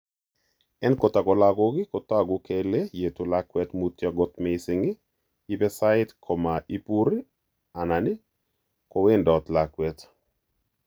En kotago lagok kotsagu kele yetu lakwet mutyo kot mising, ipe sait koma ipur alan ko wendot lakwet.